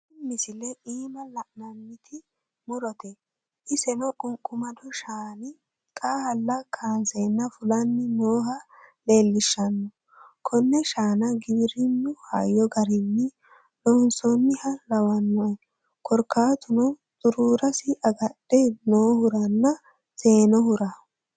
Tini misilete iima la'inanniti murote, iseno qunqumado shaani xaalla kaanseenna fulanni nooha leellishshano. konne shaana giwirinnu hayyo garinni loonsoonniha lawanno korkaatuno xuruurasi agadhe noohuranna seenohura.